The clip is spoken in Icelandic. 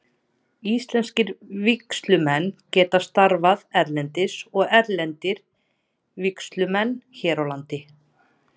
Íslenskir vígslumenn geta starfað erlendis og erlendir vígslumenn hér á landi.